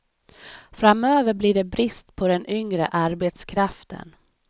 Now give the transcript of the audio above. Framöver blir det brist på den yngre arbetskraften.